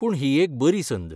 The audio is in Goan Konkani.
पूण ही एक बरी संद.